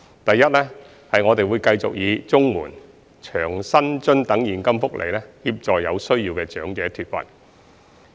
第一，我們會繼續以綜援、長者生活津貼等現金福利，協助有需要的長者脫貧。